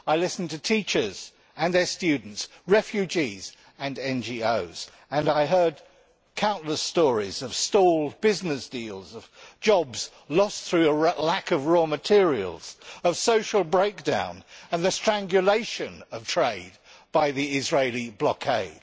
I listened to teachers and their students, refugees and NGOs, and I heard countless stories of stalled business deals, of jobs lost through lack of raw materials, of social breakdown and the strangulation of trade by the Israeli blockade.